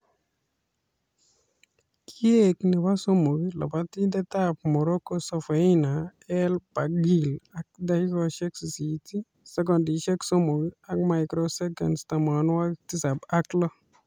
Kiek nebo somok lobotindetab Morocco Soufiane el Bakkali ak dakikaishek sisit , sekondishek somok ak microseconds tamanwokik tisab ak lo